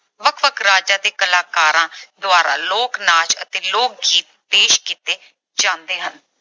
ਵੱਖ-ਵੱਖ ਰਾਜਾਂ ਦੇ ਕਲਾਕਾਰਾਂ ਦੁਆਰਾ ਲੋਕ-ਨਾਚ ਅਤੇ ਲੋਕ-ਗੀਤ ਪੇਸ਼ ਕੀਤੇ ਜਾਂਦੇ ਹਨ।